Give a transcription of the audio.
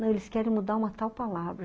Não, eles querem mudar uma tal palavra.